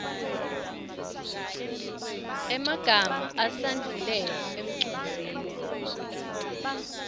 emagama esandvulelo emcondzisi